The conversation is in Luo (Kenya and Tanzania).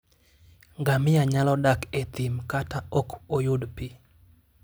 Ngamia nyalo dak e thim kata ka ok oyud pi.